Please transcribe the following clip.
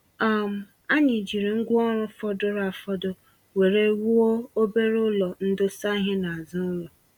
um Anyị jiri ngwá ọrụ fọdụrụ afọdụ were wuo obere ụlọ ndosa ìhè n'azụ ụlọ.